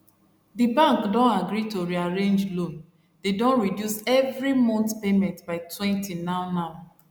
di bank don agree to rearrange loan dey don reduce every month payment bytwentynow now